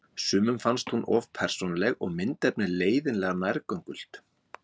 Sumum fannst hún of persónuleg og myndefnið leiðinlega nærgöngult.